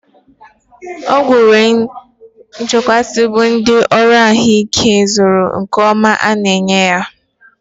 Ọgwụ nwere nchekwa bụ so ndị ọrụ ahụ ike a zuru nke ọma na enye ya